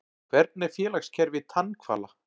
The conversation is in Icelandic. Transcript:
Hvernig er félagskerfi tannhvala?